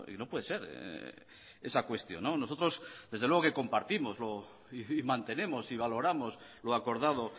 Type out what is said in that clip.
no puede ser esa cuestión nosotros desde luego que compartimos y mantenemos y valoramos lo acordado